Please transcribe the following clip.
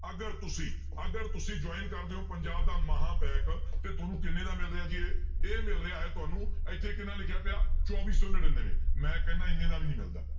ਅਗਰ ਤੁਸੀਂ ਅਗਰ ਤੁਸੀਂ join ਕਰਦੇ ਹੋ ਪੰਜਾਬ ਦਾ ਮਹਾਂ ਪੈਕ ਤੇ ਤੁਹਾਨੂੰ ਕਿੰਨੇ ਦਾ ਮਿਲ ਰਿਹਾ ਜੀ ਇਹ, ਇਹ ਮਿਲ ਰਿਹਾ ਹੈ ਤੁਹਾਨੂੰ ਇੱਥੇ ਕਿੰਨਾ ਲਿਖਿਆ ਪਿਆ ਚੌਵੀ ਸੌ ਨੜ੍ਹਿਨਵੇਂ ਮੈਂ ਕਹਿਨਾ ਇੰਨੇ ਦਾ ਵੀ ਨੀ ਮਿਲਦਾ।